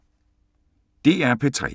DR P3